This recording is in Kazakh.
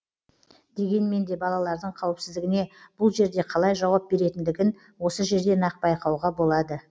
дегенмен де балалардың қауіпсіздігіне бұл жерде қалай жауап беретіндігін осы жерден ақ байқауға болады